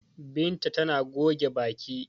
Binta tana goge baki.